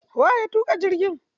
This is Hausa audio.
Waye ya tuƙa jirgi?